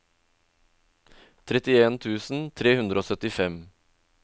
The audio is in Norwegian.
trettien tusen tre hundre og syttifem